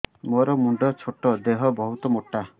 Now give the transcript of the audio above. ମୋର ମୁଣ୍ଡ ଛୋଟ ଦେହ ବହୁତ ମୋଟା